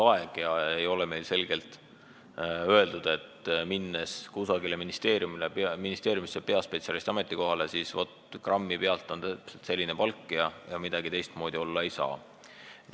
Meil ei ole enam nii, et kui tahetakse minna kusagile ministeeriumisse peaspetsialisti ametikohale, siis öeldakse, et palk on vaat grammi pealt selline ja midagi teistmoodi olla ei saa.